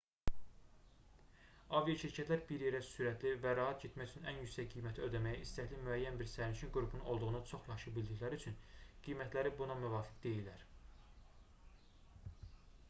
aviaşirkətlər bir yerə sürətli və rahat getmək üçün ən yüksək qiyməti ödəməyə istəkli müəyyən bir sərnişin qrupunun olduğunu çox yaxşı bildikləri üçün qiymətləri buna müvafiq deyilər